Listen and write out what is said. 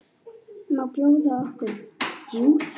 Má bjóða okkur djús?